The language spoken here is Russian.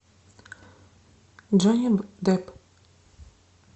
джонни депп